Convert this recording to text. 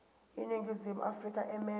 iningizimu afrika emelwe